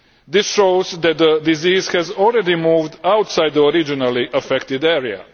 This shows that the disease has already moved outside the originally affected area.